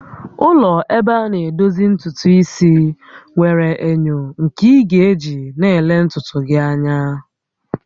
Ụlọ ebe ana edozi ntutu isi nwere enyo nke ị ga-eji na-ele ntutu gị anya